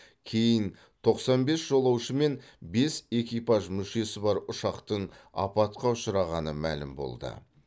кейін тоқсан бес жолаушы мен бес экипаж мүшесі бар ұшақтың апатқа ұшырағаны мәлім болды